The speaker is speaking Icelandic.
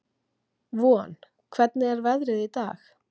Von, hvernig er veðrið í dag?